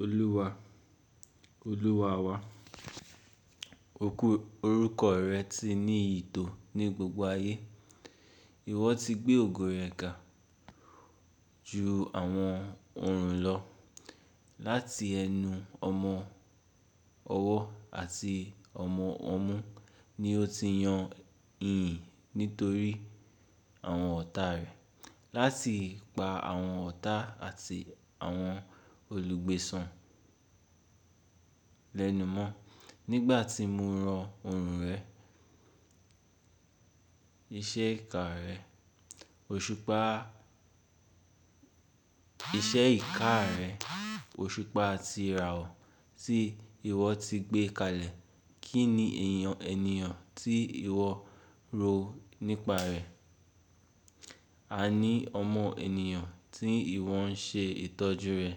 Oluwa, Oluwa wa, orúkọ rẹ ti ní ìyi to, ní gbogbo ayé. Ìwọ ti gbé ògo rẹ gá ju àwọn ohun lọ. Láti ẹnu ọmọ ọwọ́ àti ọmọ ọmú ni o ti yan ìyìn nítorí àwọn ọ̀tá rẹ. Láti pa àwọn ọ̀tá àti àwọn olùgbésan lẹ́nu mọ́. Nígbà tí mo ran ohun rẹ, iṣẹ́ ìká rẹ, òṣùpá, ìṣẹ́ ìká rẹ, òṣùpá ati irawo, tí ìwọ ti gbé kalẹ̀. Kí ni ènìyàn tí ìwọ ro nípa rẹ̀? A ní Ọmọ Ènìyàn tí ìwọ ń ṣe ìtọ́jú rẹ̀.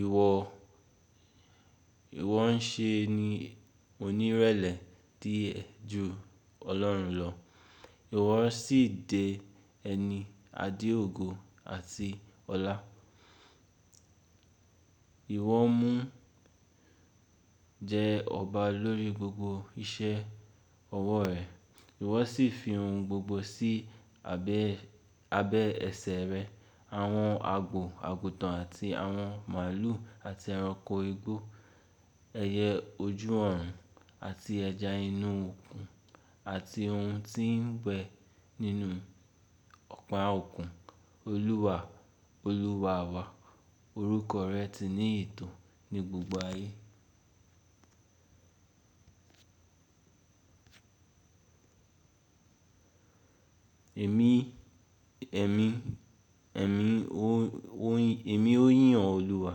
Ìwọ, ìwọ ń ṣe ni onírẹ̀lẹ̀ díẹ̀ ju Ọlọ́run lọ. Ìwọ sì dé ẹni Adé ògo àti ọ̀la. Ìwọ mú jẹ́ ọba lórí gbogbo iṣẹ́ ọwọ́ rẹ. Ìwọ sì fi ohun gbogbo sí abẹ́ ẹsẹ̀ rẹ, àwọn agbo àgùntàn àti àwọn màlúù àti ẹranko igbó, ẹyẹ ojú ọ̀run àti ẹja inú òkun àti ohun tí ń wẹ̀ nínú ọ̀pá òkun. Olúwa, Olúwa wa, orúkọ rẹ ti ní iyi to, ní gbogbo ayé. Èmi, èmi, èmi ó yìn ọ́ Olúwa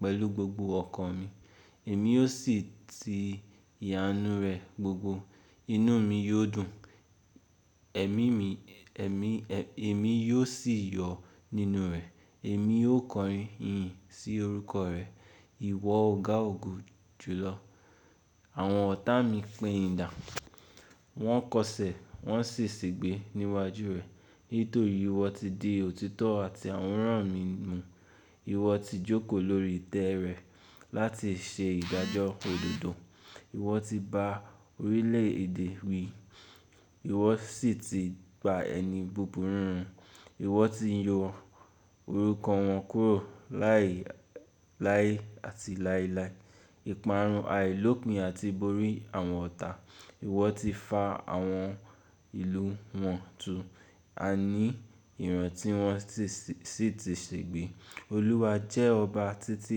pẹ̀lú gbogbo ọkàn mi. Èmi ó sì ti ìyanu rẹ gbogbo. Inú mi yóò dùn. Èmi mi, èmi, èmi yóò sì yọ nínú rẹ̀. Èmi ó kọrin ìyìn sí orúkọ rẹ. Ìwọ ọ̀gá ògo jù lọ. Àwọn ọ̀tá mi pẹ́yinda. Wọ́n kọsẹ̀ wọ́n sì ṣègbé níwájú rẹ. Nítorí ìwọ ti di òtítọ́ àti àwọn rán mi nú. Ìwọ ti jókòó lórí itẹ́ rẹ láti ṣe ìdájọ́ òdodo. Ìwọ ti ba orílẹ̀ èdè wí. Ìwọ sì ti gba ẹni búburú. Ìwọ ti yọ orúkọ wọn kúrò láì, láì àti láì láì. Ìparun, àìlópin àti ìbòrí àwọn ọ̀tá. Ìwọ ti fa àwọn ìlú wọn tu. A ní ìran tí wọ́n sì ti ṣègbé. Olúwa jẹ́ ọba títí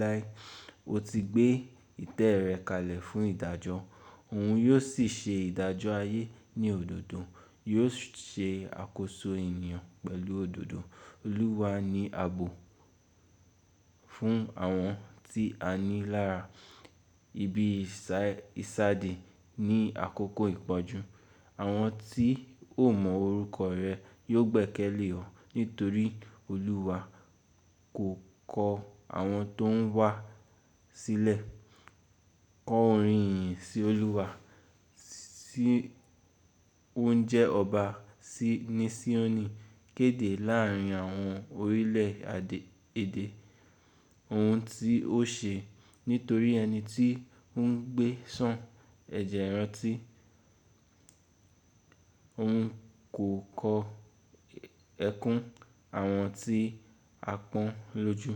láé. O ti gbé ìtẹ́ rẹ kalẹ̀ fún ìdájọ́. Òun yóò sì ṣe ìdájọ́ ayé ní òdodo. Yóò ṣe àkóso ènìyàn pẹ̀lú òdodo. Olúwa ní agbó fún àwọn tí a ní'lára ibi ìsádi ní àkókò ìponju. Àwọn tí ó mọ orúkọ rẹ̀ yóò gbẹ́kẹ̀lé ọ̀. Nítorí Olúwa kò kọ àwọn tó ń wá sílẹ̀. Kọ orin ìyìn sí Olúwa, tí ó ń jẹ́ ọba sí ní Sioni. Kéde láàárín àwọn orílẹ̀-èdè ohun tí ó ṣe. Nítorí ẹni tí ń gbé ṣán, ẹ̀jẹ̀ rántí. Óun kò kọ ẹkún àwọn tí a pọ́n lójú.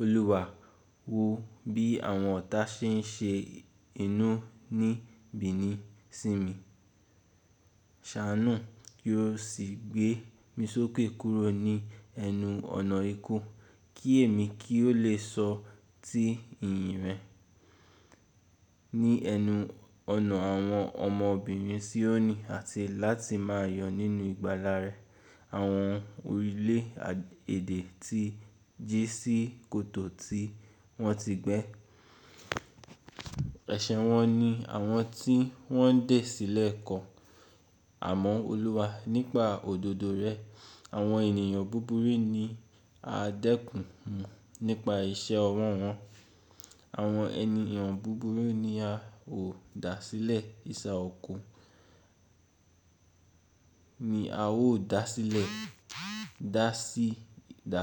Olúwa, wo bí àwọn ọ̀tá ṣe ń ṣe inú níbìní sí mi. Ṣàánú, kí o sì gbé mi sókè kúrò ní ẹnu ọ̀nà ikú. Kí èmi kí ó lè sọ tí ìyìn rẹ ní ẹnu ọ̀nà àwọn ọmọbìnrin Sioni àti láti máa yọ nínú ìgbàlà rẹ̀. Àwọn orílẹ̀-èdè ti jí sí kòtò tí wọ́n ti gbẹ́. Ẹ̀ṣẹ̀ wọn ni àwọn tí wọ́n dè sílẹ̀ kọ́. Àmọ́ Olúwa, nípa òdodo rẹ àwọn ènìyàn búburú ni a dẹkùn mú nípa iṣẹ́ ọwọ́ wọn. Àwọn ènìyàn búburú ni a ó dá sílẹ̀, ìṣà òkú ni a ó dá sílẹ̀, dá sí, dá.